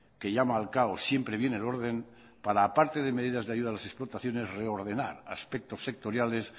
que llama al caos siempre viene el orden para aparte de medidas de ayuda a las exportaciones reordenar aspectos sectoriales